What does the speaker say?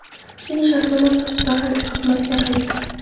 Keyin shartnoma asosida harbiy xizmatga qaytdim.